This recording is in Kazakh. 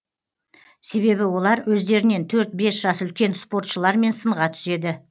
себебі олар өздерінен төрт бес жас үлкен спортшылармен сынға түседі